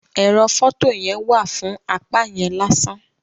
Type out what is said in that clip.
Ẹrọ fọto yẹn wa fún apá yẹn lásán.